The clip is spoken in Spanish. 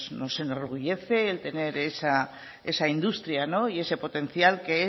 nos enorgullece el tener esa industria y ese potencial que